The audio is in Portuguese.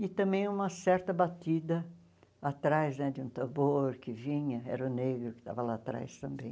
E também uma certa batida atrás né de um tambor que vinha, era o negro que estava lá atrás também.